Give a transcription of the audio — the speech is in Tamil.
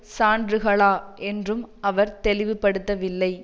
சான்றுகளா என்றும் அவர் தெளிவுபடுத்தவில்லை